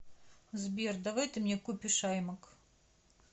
сбер давай ты мне купишь аймак